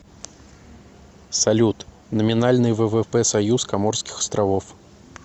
салют номинальный ввп союз коморских островов